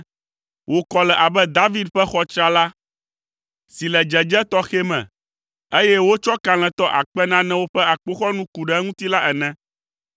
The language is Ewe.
Wò kɔ le abe David ƒe xɔ tsrala si le dzedze tɔxɛ me, eye wotsɔ kalẽtɔ akpe nanewo ƒe akpoxɔnu ku ɖe eŋuti la ene.